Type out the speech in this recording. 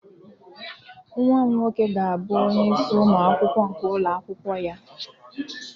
Nwa m nwoke ga-abụ onye isi ụmụ akwụkwọ nke ụlọ akwụkwọ ya